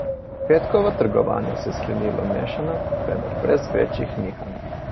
Petkovo trgovanje se je sklenilo mešano, vendar brez večjih nihanj.